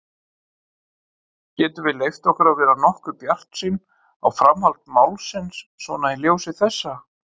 Getum við leyft okkur að vera nokkuð bjartsýn á framhald málsins svona í ljósi þessa?